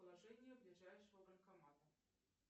положение ближайшего банкомата